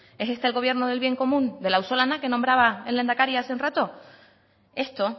es este el gobierno del bien común del auzolana que nombraba el lehendakari hace un rato esto